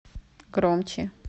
громче